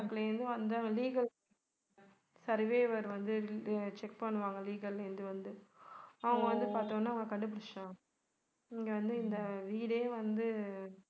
bank ல இருந்து வந்து legal surveyor வந்து check பண்ணுவாங்க legal ல இருந்து வந்து. அவங்க வந்து பார்த்த உடனே அவங்க கண்டுபிடிச்சுட்டாங்க. இங்க வந்து இந்த வீடே வந்து